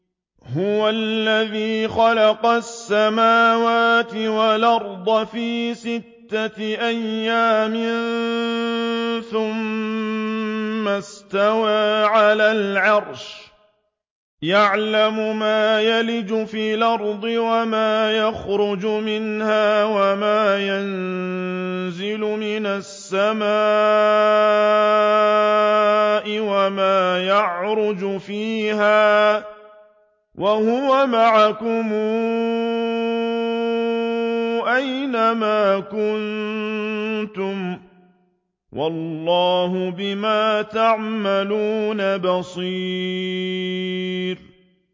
هُوَ الَّذِي خَلَقَ السَّمَاوَاتِ وَالْأَرْضَ فِي سِتَّةِ أَيَّامٍ ثُمَّ اسْتَوَىٰ عَلَى الْعَرْشِ ۚ يَعْلَمُ مَا يَلِجُ فِي الْأَرْضِ وَمَا يَخْرُجُ مِنْهَا وَمَا يَنزِلُ مِنَ السَّمَاءِ وَمَا يَعْرُجُ فِيهَا ۖ وَهُوَ مَعَكُمْ أَيْنَ مَا كُنتُمْ ۚ وَاللَّهُ بِمَا تَعْمَلُونَ بَصِيرٌ